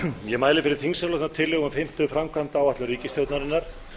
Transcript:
ég mæli fyrir þingsályktunartillögu um fimmtu framkvæmdaáætlun ríkisstjórnarinnar